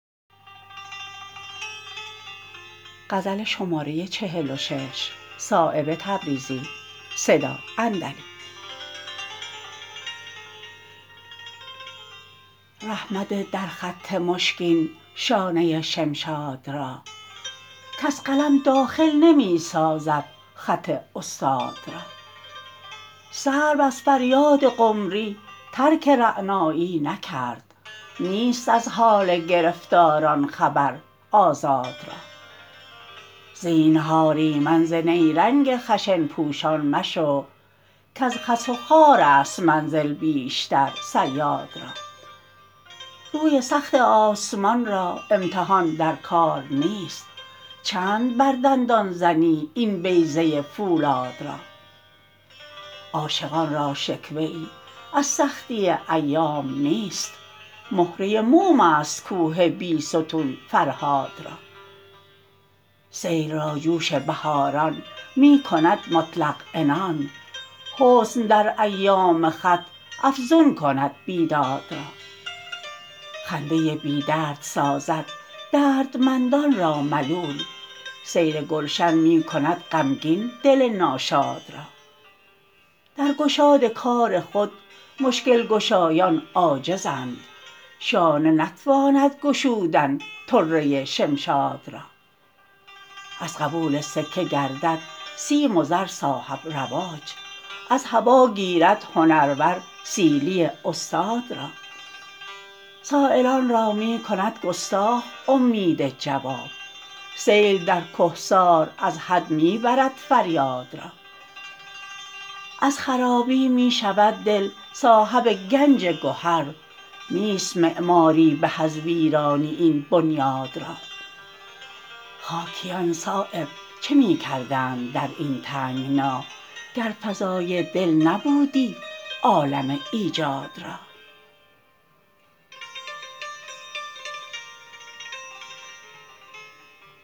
ره مده در خط مشکین شانه شمشاد را کس قلم داخل نمی سازد خط استاد را سرو از فریاد قمری ترک رعنایی نکرد نیست از حال گرفتاران خبر آزاد را زینهار ایمن ز نیرنگ خشن پوشان مشو کز خس و خارست منزل بیشتر صیاد را روی سخت آسمان را امتحان در کار نیست چند بر دندان زنی این بیضه فولاد را عاشقان را شکوه ای از سختی ایام نیست مهره موم است کوه بیستون فرهاد را سیل را جوش بهاران می کند مطلق عنان حسن در ایام خط افزون کند بیداد را خنده بی درد سازد دردمندان را ملول سیر گلشن می کند غمگین دل ناشاد را در گشاد کار خود مشکل گشایان عاجزند شانه نتواند گشودن طره شمشاد را از قبول سکه گردد سیم و زر صاحب رواج از هوا گیرد هنرور سیلی استاد را سایلان را می کند گستاخ امید جواب سیل در کهسار از حد می برد فریاد را از خرابی می شود دل صاحب گنج گهر نیست معماری به از ویرانی این بنیاد را خاکیان صایب چه می کردند در این تنگنا گر فضای دل نبودی عالم ایجاد را